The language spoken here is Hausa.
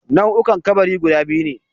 Nau'ukan kabari guda biyu ne